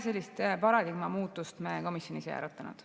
Sellist paradigma muutust me komisjonis ei arutanud.